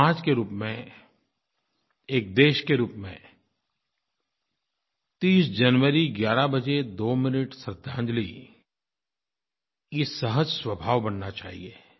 एक समाज के रूप में एक देश के रूप में 30 जनवरी 11 बजे 2 मिनट श्रद्धांजलि यह सहज स्वभाव बनना चाहिए